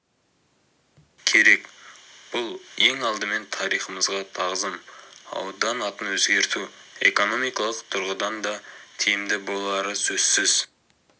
керек бұл ең алдымен тарихымызға тағзым аудан атын өзгерту экономикалық тұрғыдан да тиімді болары сөзсіз